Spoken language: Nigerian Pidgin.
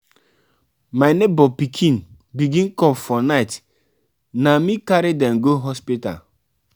my nebor pikin begin cough for night na me carry dem go hospital.